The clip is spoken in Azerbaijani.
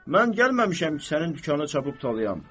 Mən gəlməmişəm ki, sənin dükanı çapıb talayyam.